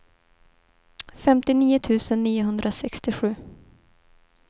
femtionio tusen niohundrasextiosju